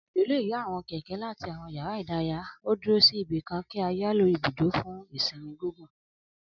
Alejo le ya awọn kẹkẹ lati awọn ìdárayá o duro si ibikan ká yiyalo ibudo fun a sinmi gigun.